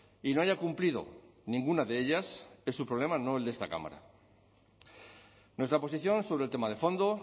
y no haya cumplido ninguna de ellas es su problema no el de esta cámara nuestra posición sobre el tema de fondo